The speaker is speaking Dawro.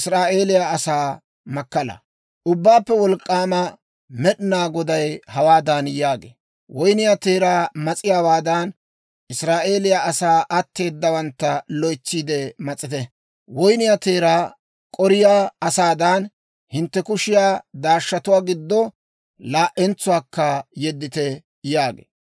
Ubbaappe Wolk'k'aama Med'inaa Goday hawaadan yaagee; «Woynniyaa teeraa mas'iyaawaadan, Israa'eeliyaa asaa atteeddawantta loytsiide mas'ite. Woynniyaa teeraa k'oriyaa asaadan, hintte kushiyaa daashshatuwaa giddo laa"entsuwaakka yeddite» yaagee.